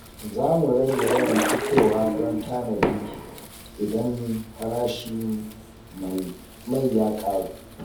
Za mu rage yawan fitowa don tanadi idan farashin mai ya ƙaru.